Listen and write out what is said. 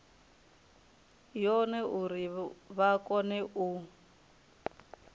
yone uri vha kone u